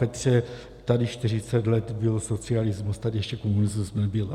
Petře, tady 40 let byl socialismus, tady ještě komunismus nebyl.